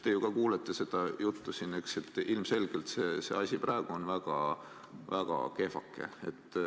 Te ju ka kuulete seda juttu siin ja näete, et ilmselgelt on see asi praegu väga kehvake.